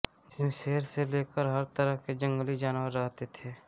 जिसमे शेर से लेकर हर तरह के जंगली जानवर रहते थे